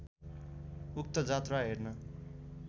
उक्त जात्रा हेर्न